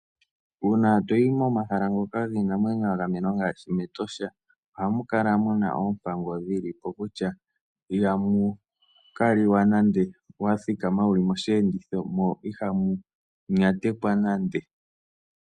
Uuna toyi momahala ngoka giinamwenyo gagamenwa ngaashi mEtosha ohamu kala muna oompango dhilipo kutya ihamu kaliwa nande wathikama wuli moshiyenditho mo ihamu nyatekwa nande.